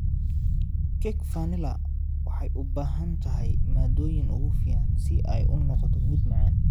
Cake Vanilla waxay u baahan tahay maaddooyinka ugu fiican si ay u noqoto mid macaan.